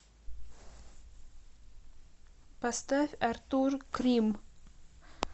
поставь артур крим